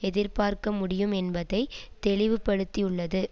எதிர்பார்க்க முடியும் என்பதை தெளிவுபடுத்தியுள்ளது